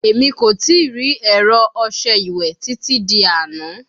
Emi ko tii ri ẹrọ ọṣẹ iwẹ titi di ana